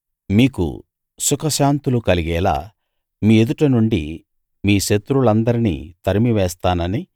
మీకు సుఖశాంతులు కలిగేలా మీ ఎదుట నుండి మీ శత్రువులందరినీ తరిమి వేస్తానని